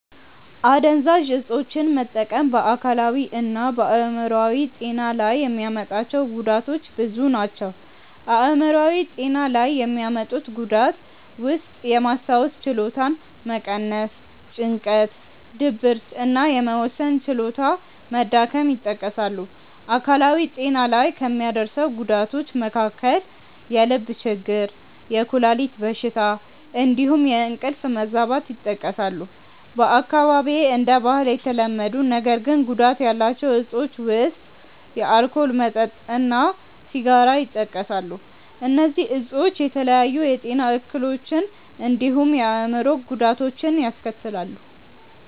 አደንዛዥ እፆችን መጠቀም በ አካላዊ እና በ አይምሮአዊ ጤና ላይ የሚያመጣቸው ጉዳቶች ብዙ ናቸው። አይምሯዊ ጤና ላይ የሚያመጡት ጉዳት ውስጥየማስታወስ ችሎታን መቀነስ፣ ጭንቀት፣ ድብርት እና የመወሰን ችሎታ መዳከም ይጠቀሳሉ። አካላዊ ጤና ላይ ከሚያደርሰው ጉዳቶች መካከል የልብ ችግር፣ የኩላሊት በሽታ እንዲሁም የእንቅልፍ መዛባት ይጠቀሳሉ። በአካባቢዬ እንደ ባህል የተለመዱ ነገር ግን ጉዳት ያላቸው እፆች ውስጥ የአልኮል መጠጥ እና ሲጋራ ይጠቀሳሉ። እነዚህ እፆች የተለያዩ የጤና እክሎችን እንዲሁም የአእምሮ ጉዳቶችን ያስከትላሉ።